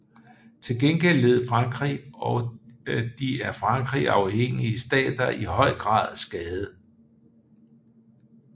Til gengæld led Frankrig og de af Frankrig afhængige stater i høj grad skade